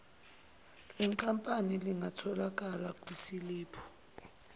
lenkampani lingatholakala kwisiliphu